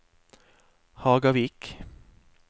Hagavik